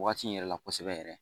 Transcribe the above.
Waati in yɛrɛ la kosɛbɛ yɛrɛ